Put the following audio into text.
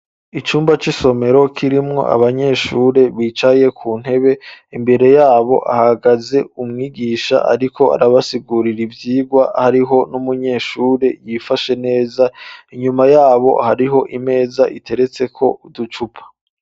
Icumba c'isomero kirimwo abanyeshuri bicaye ku ntebe. Imbere y'abo, hahagaze umwigisha ariko arabasigurira ivyigwa. Hariho n'umunyeshuri yifashe neza. Inyuma y'abo hariho imeza iteretseko uducupa.